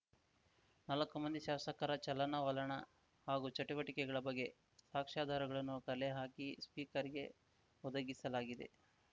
ನಾಲ್ಕೂ ಮಂದಿ ಶಾಸಕರ ಚಲನವನ ಹಾಗೂ ಚಟುವಟಿಕೆಗಳ ಬಗ್ಗೆ ಸಾಕ್ಷಾಧಾರಗಳನ್ನು ಕಲೆ ಹಾಕಿ ಸ್ಪೀಕರ್‌ಗೆ ಒದಗಿಸಲಾಗಿದೆ